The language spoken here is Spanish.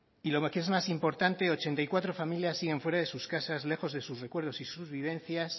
y lo que es más importante ochenta y cuatro familias siguen fuera de sus casas lejos de sus recuerdos y sus vivencias